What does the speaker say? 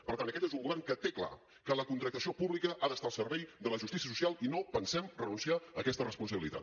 per tant aquest és un govern que té clar que la contractació pública ha d’estar al servei de la justícia social i no pensem renunciar a aquesta responsabilitat